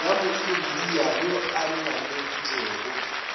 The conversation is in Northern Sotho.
ya moindia yo a nnameditšego